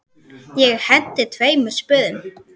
Ég henti tveimur spöðum.